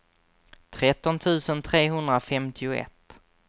tretton tusen trehundrafemtioett